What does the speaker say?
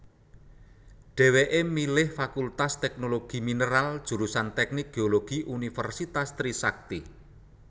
Dheweké milih Fakultas Teknologi Mineral jurusan Teknik Geologi Universitas Trisakti